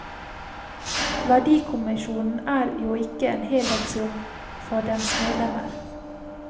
Verdikommisjonen er jo ikke en heldagsjobb for dens medlemmer.